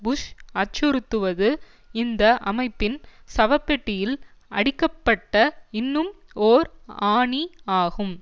push அச்சுறுத்துவது இந்த அமைப்பின் சவ பெட்டியில் அடிக்கப்பட்ட இன்னும் ஓர் ஆணி ஆகும்